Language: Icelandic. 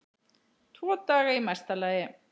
Tvo daga í mesta lagi.